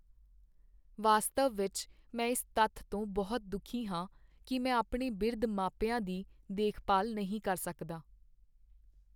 ਵਾਸਤਵ ਵਿਚ ਮੈਂ ਇਸ ਤੱਥ ਤੋਂ ਬਹੁਤ ਦੁਖੀ ਹਾਂ ਕਿ ਮੈਂ ਆਪਣੇ ਬਿਰਧ ਮਾਪਿਆਂ ਦੀ ਦੇਖਭਾਲ ਨਹੀਂ ਕਰ ਸਕਦਾ।